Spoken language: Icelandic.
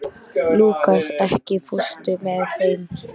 Lúkas, ekki fórstu með þeim?